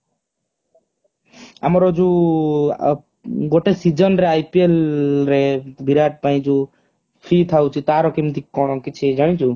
ଆମର ଯୋଉ ଗୋଟେ season ରେ IPL ରେ ବିରାଟ ପାଇଁ ଯୋଉ fee ଥାଉଛି ତାର କେମିତି କଣ କିଛି ଜାଣିଛୁ